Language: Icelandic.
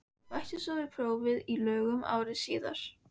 Bætti svo við prófi í lögum ári síðar.